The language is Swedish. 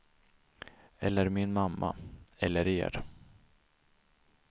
Eller min mamma, eller er.